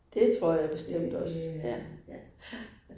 Det tror jeg bestemt også ja. Ja